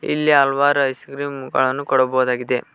ಇಲ್ಲಿ ಹಲ್ವಾರ್ ice cream ಗಳನ್ನು ಕೊಡಬೊದಾಗಿದೆ.